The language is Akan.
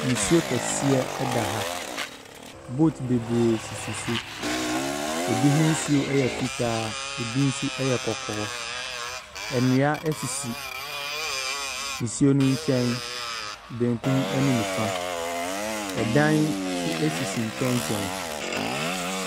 Nsuo kɛseɛ eda ha, boat bebree sisi so, ebi hosuo ɛyɛ fitaa, ebi nso ɛyɛ kɔkɔɔ. Nnua esisi nsuo no nkyɛn, benkum ɛne nifa. Ɛdan esisi nkyɛnkyɛn.